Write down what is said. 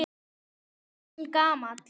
Ég er orðinn gamall.